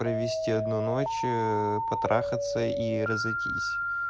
провести одну ночь потрахаться и разойтись